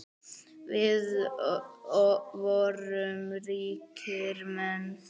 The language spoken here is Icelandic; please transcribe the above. Við vorum ríkir menn.